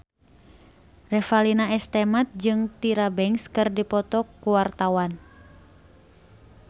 Revalina S. Temat jeung Tyra Banks keur dipoto ku wartawan